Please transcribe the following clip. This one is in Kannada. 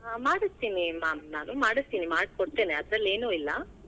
ಹಾ ಮಾಡಸ್ತೀನಿ ma'am ನಾನ್ ಮಾಡಸ್ತೀನಿ, ಮಾಡ್ ಕೊಡ್ತೀನಿ ಅದ್ರಲ್ ಏನೂ ಇಲ್ಲಾ.